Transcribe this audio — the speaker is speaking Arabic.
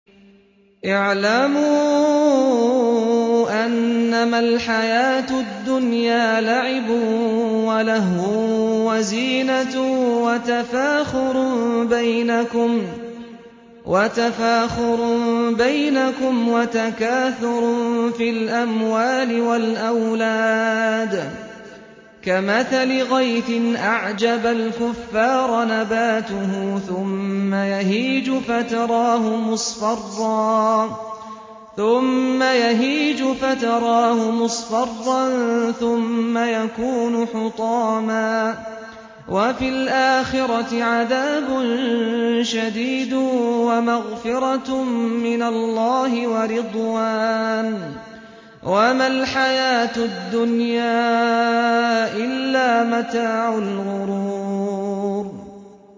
اعْلَمُوا أَنَّمَا الْحَيَاةُ الدُّنْيَا لَعِبٌ وَلَهْوٌ وَزِينَةٌ وَتَفَاخُرٌ بَيْنَكُمْ وَتَكَاثُرٌ فِي الْأَمْوَالِ وَالْأَوْلَادِ ۖ كَمَثَلِ غَيْثٍ أَعْجَبَ الْكُفَّارَ نَبَاتُهُ ثُمَّ يَهِيجُ فَتَرَاهُ مُصْفَرًّا ثُمَّ يَكُونُ حُطَامًا ۖ وَفِي الْآخِرَةِ عَذَابٌ شَدِيدٌ وَمَغْفِرَةٌ مِّنَ اللَّهِ وَرِضْوَانٌ ۚ وَمَا الْحَيَاةُ الدُّنْيَا إِلَّا مَتَاعُ الْغُرُورِ